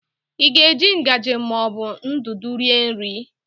Ị ga-eji ngaji ma ọ bụ ndụdụ rie nri?